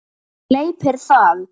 Og gleypir það.